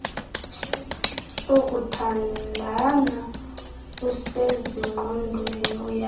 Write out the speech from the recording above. sokuthandana usezingqondweni uyazi